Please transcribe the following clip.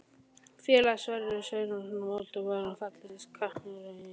Félagarnir Sverrir Sverrisson og Ómar Valdimarsson Fallegasti knattspyrnumaðurinn í deildinni?